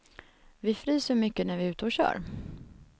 Vi fryser mycket när vi är ute och kör.